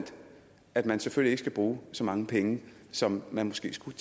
at man selvfølgelig ikke skal bruge så mange penge som man måske skulle